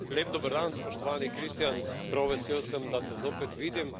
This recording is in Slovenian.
Lep dober dan, spoštovani Kristijan, prav vesel sem, da te zopet vidim.